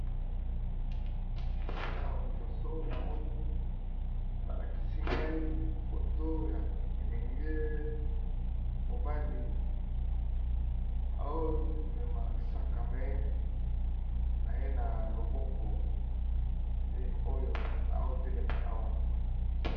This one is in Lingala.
Awa liboso namoni balakisi ngai foto ya elenge mobali, amemi sac na ye na loboko nde oyo atelema awa.